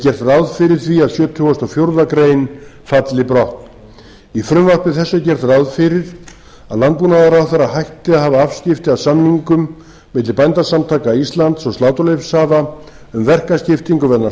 ráð fyrir því að sjötugasta og fjórðu grein falli brott í frumvarpi þessu er gert ráð fyrir að landbúnaðarráðherra hætti að hafa afskipti af samningum milli bændasamtaka íslands og sláturleyfishafa um verkaskiptingu vegna